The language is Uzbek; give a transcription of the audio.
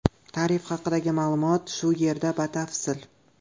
Tarif haqidagi ma’lumot shu yerda batafsil.